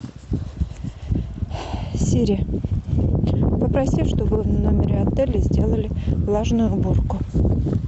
сири попроси чтобы в номере отеля сделали влажную уборку